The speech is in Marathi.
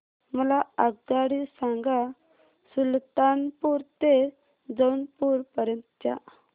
मला आगगाडी सांगा सुलतानपूर ते जौनपुर पर्यंत च्या